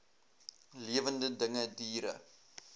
lewende dinge diere